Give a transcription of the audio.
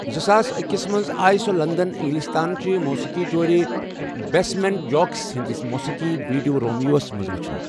زٕ ساس اکسِ منز ،آیہ سۄ لندن اِنگلِستان چہِ موسیقی جورِ بیسمینٹ جاكس ہندِس موسیقی ویڈیو 'رومِیو' ہس منٛز وچھنہٕ ۔